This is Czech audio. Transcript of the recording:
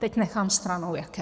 Teď nechám stranou jaké.